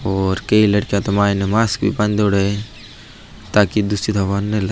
और कई लड़किया तो माइने मास्क भी बान्देड़ा है ताकि दूषित हवा ना --